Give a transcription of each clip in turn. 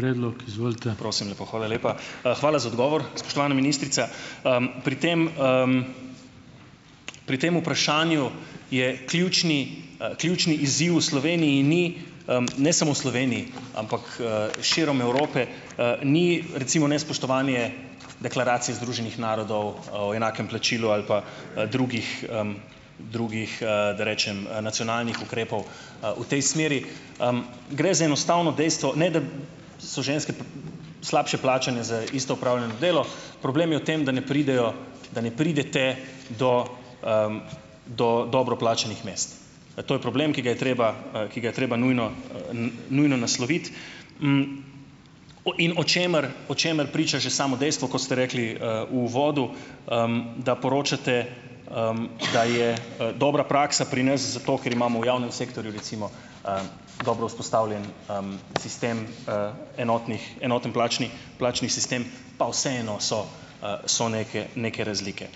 Hvala za odgovor, spoštovana ministrica. Pri tem, pri tem vprašanju je ključni, ključni izziv v Sloveniji ni, ne samo v Sloveniji, ampak, širom Evrope, ni recimo nespoštovanje deklaracije Združenih narodov, o enakem plačilu ali pa, drugih, da rečem, nacionalnih ukrepov, v tej smeri. Gre za enostavno dejstvo, ne, da so ženske slabše plačane za isto opravljeno delo, problem je v tem, da ne pridejo, da ne pridete do, do dobro plačanih mest. To je problem, ki ga je treba, ki ga je treba nujno, nujno nasloviti, o in o čemer o čemer priča že samo dejstvo, kot ste rekli, v uvodu, da poročate, da je, dobra praksa pri nas zato, ker imamo v javnem sektorju recimo, dobro vzpostavljen, sistem, enotnih enotni plačni plačni sistem, pa vseeno so, so neke neke razlike.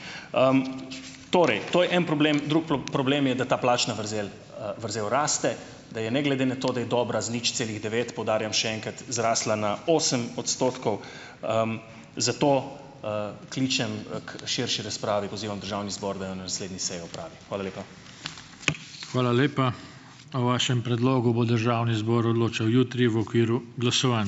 Torej, to je en problem, drug problem je, da ta plačna vrzel, vrzel raste, da je ne glede na to, da je dobra z nič celih devet, poudarjam še enkrat, zrasla na osem odstotkov, zato, kličem, k širši razpravi, pozivam državni zbor, da jo na naslednji seji opravi. Hvala lepa.